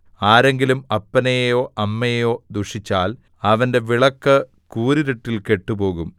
ആരെങ്കിലും അപ്പനെയോ അമ്മയെയോ ദുഷിച്ചാൽ അവന്റെ വിളക്ക് കൂരിരുട്ടിൽ കെട്ടുപോകും